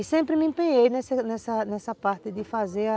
E sempre me empenhei nessa parte de fazer a...